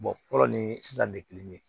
fɔlɔ ni dan kelen